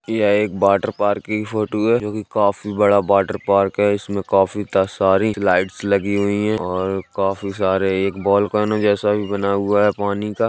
यह एक water park की फोटो है जो कि काफ़ी बड़ा वाटर पार्क है इसमें काफ़ी त- सारी लाइट्स लगी हुई हैं और काफी सारे एक वोल्केनो जैसा भी बना हुआ हैं पानी का।